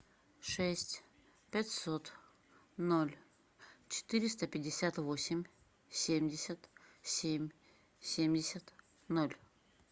шесть пятьсот ноль четыреста пятьдесят восемь семьдесят семь семьдесят ноль